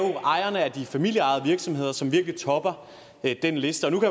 ejerne af de familieejede virksomheder som virkelig topper den liste og nu